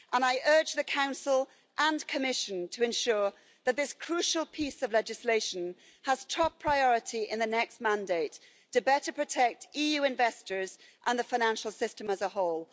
I urge the Council and Commission to ensure that this crucial piece of legislation has top priority in the next mandate to better protect EU investors and the financial system as a whole.